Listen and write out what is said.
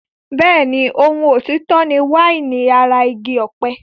Bẹ́ẹ̀ni, ohun òtítọ́ ni wáìnì ara igi ọ̀pẹ.